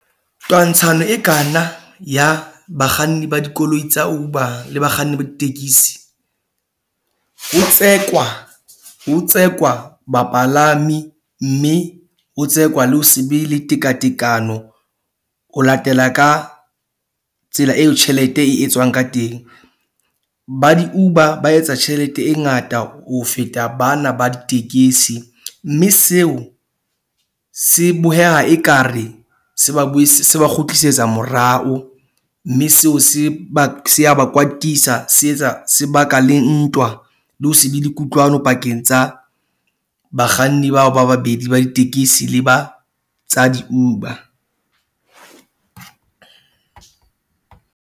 Twantshano e kana ya bakganni ba dikoloi tsa Uber le bakganni ba ditekesi, ho tsekwa ho tsekwa bapalami. Mme ho tsekwa le ho se be le tekatekano ho latela ka tsela eo tjhelete e etswang ka teng. Ba di-Uber ba etsa tjhelete e ngata ho feta bana ba ditekesi. Mme seo se boheha ekare se ba , se ba kgutlisetsa morao mme seo se ba se a ba kwatisa. Se etsa se baka le ntwa le ho se be le kutlwano pakeng tsa bakganni bao ba babedi ba ditekesi le ba tsa di-Uber .